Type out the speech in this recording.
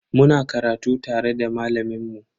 Muna karatu tare da malamin mu.